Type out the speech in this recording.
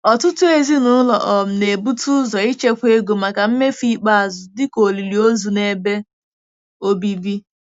Ọtụtụ ezinụlọ um na-ebute ụzọ ichekwa ego maka mmefu ikpeazụ, dịka olili ozu na ebe obibi.